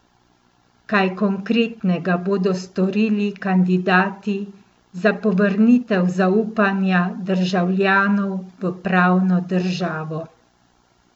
Kaj konkretnega bodo storili kandidati za povrnitev zaupanja državljanov v pravno državo?